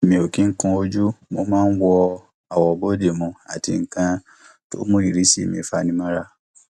mi ò kì í kun ojú mo ma wo àwọ bóde mu àti nǹkan tó mú ìrísí mi fani mọra